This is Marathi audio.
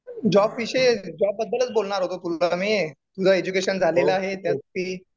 जॉब विषयी जॉब बद्दलच बोलणार होतो तुला मी तुझं एज्युकेशन झालेलं आहे. ते